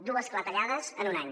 dues clatellades en un any